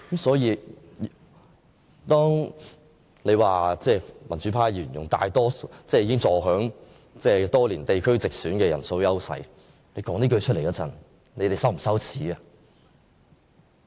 因此，當他們說民主派議員多年坐享地區直選的人數優勢時，他們會否覺得羞耻？